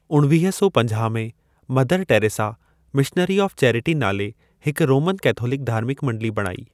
उणवीह सौ पंजाह में, Mother Teresa Missionary of Charity नाले हिक रोमन कैथोलिक धार्मिक मण्डली बणाई।